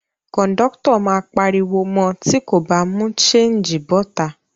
Kòńdọ́tọ̀ máa pariwo mọ tí kò bá mú ṣéńjì bọ́ta